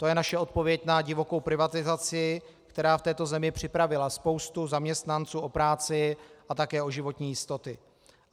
To je naše odpověď na divokou privatizaci, která v této zemi připravila spoustu zaměstnanců o práci a také o životní jistoty.